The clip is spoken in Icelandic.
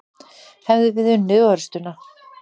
Hefðum við unnið orustuna?